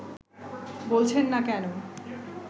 বলছেন না কেন